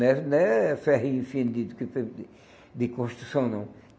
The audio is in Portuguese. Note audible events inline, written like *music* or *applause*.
Né né ferrinho fino de *unintelligible* de construção, não.